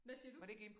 Hvad siger du?